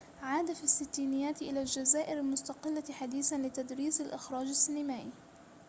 عاد في الستينيات إلى الجزائر المستقلة حديثًا لتدريس الإخراج السينمائي